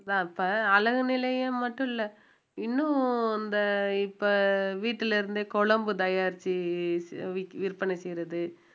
அதா இப்ப அழகு நிலையம் மட்டும் இல்ல இன்னும் அந்த இப்ப வீட்டுல இருந்தே குழம்பு தயாரிச்சு ச~ விக்~ விற்பனை செய்யறது